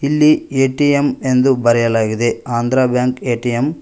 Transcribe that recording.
ಇಲ್ಲಿ ಏ_ಟಿ_ಎಂ ಎಂದು ಬರೆಯಲಾಗಿದೆ ಆಂದ್ರ ಬ್ಯಾಂಕ್ ಏ_ಟಿ_ಎಂ .